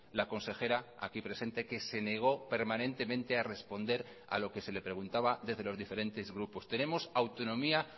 la consejera aquí presente que se negó permanentemente a responder a lo que se le preguntaba desde los diferentes grupos tenemos autonomía